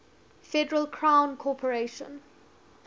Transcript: federal crown corporation